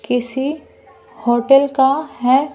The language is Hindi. किसी होटल का है।